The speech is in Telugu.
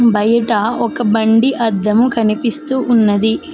బయట ఒక బండి అద్దం కనిపిస్తూ ఉన్నది